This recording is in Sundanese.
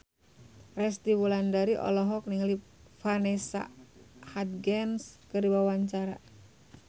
Resty Wulandari olohok ningali Vanessa Hudgens keur diwawancara